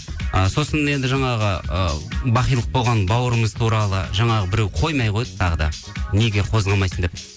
ы сосын енді жаңағы ы бақилық болған бауырымыз туралы жаңағы біреу қоймай қойды тағы да неге қозғамайсың деп